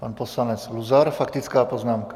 Pan poslanec Luzar, faktická poznámka.